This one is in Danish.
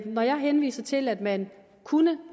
når jeg henviser til at man kunne